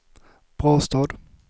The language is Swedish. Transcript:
Brastad